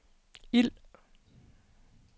ild